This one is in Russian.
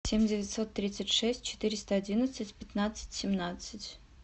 семь девятьсот тридцать шесть четыреста одиннадцать пятнадцать семнадцать